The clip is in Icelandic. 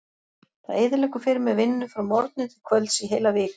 Það eyðileggur fyrir mér vinnu frá morgni til kvölds í heila viku.